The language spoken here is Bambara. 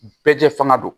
Bɛɛ jɛ fanga don